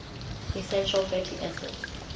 essential fatty acids